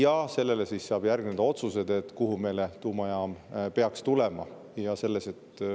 Ja sellele siis järgnevad otsused,, kuhu meile tuumajaam peaks tulema.